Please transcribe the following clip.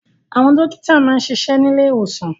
Àwọn dókítà máa ń ṣiṣẹ́ ní ilé ìwòsàn